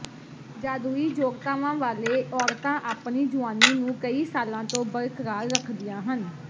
ਜਾਦੂਈ ਯੋਗਤਾਵਾਂ ਵਾਲੇ ਔਰਤਾਂ ਆਪਣੀ ਜੁਆਨੀ ਨੂੰ ਕਈ ਸਾਲਾਂ ਤੋਂ ਬਰਕਰਾਰ ਰੱਖਦੀਆਂ ਹਨ